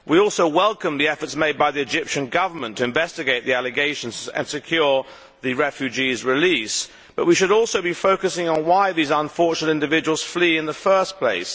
We welcome, too, the efforts made by the Egyptian Government to investigate the allegations and secure the refugees' release, but we should also be focusing on why these unfortunate individuals flee in the first place.